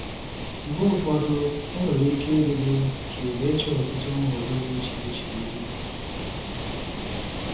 Mgbe ụfọdụ, ọ nwere ike ịdị gị ka ị na-eche ọtụtụ nhọrọ dị iche iche ihu.